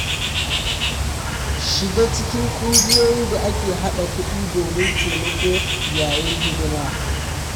Shiga cikin ƙungiyoyin da ake haɗa kuɗi domin taimako yayin hidima.